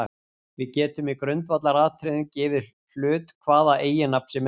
Við getum í grundvallaratriðum gefið hlut hvaða eiginnafn sem er.